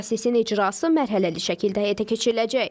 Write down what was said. Prosesin icrası mərhələli şəkildə həyata keçiriləcək.